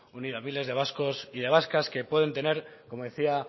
unido a miles de vascos y de vascas que pueden tener como decía